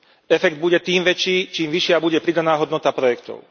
Efekt bude tým väčší, čím vyššia bude pridaná hodnota projektov.